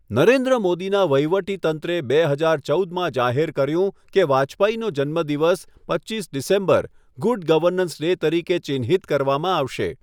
નરેન્દ્ર મોદીના વહીવટીતંત્રે બે હજાર ચૌદમાં જાહેર કર્યું કે વાજપેયીનો જન્મદિવસ, પચીસ ડિસેમ્બર, ગુડ ગવર્નન્સ ડે તરીકે ચિહ્નિત કરવામાં આવશે.